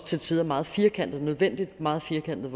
til tider meget firkantet nødvendigt meget firkantet